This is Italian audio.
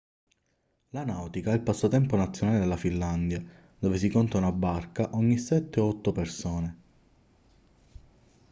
la nautica è il passatempo nazionale della finlandia dove si conta una barca ogni sette o otto persone